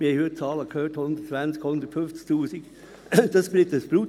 – Wir haben heute Zahlen von 120 000 bis 150 000 Franken gehört.